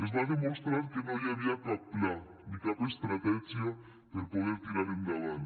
es va demostrar que no hi havia cap pla ni cap estratègia per poder tirar endavant